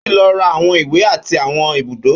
Ó ti lọ ra àwọn ìwé àti àwọn ibùdó.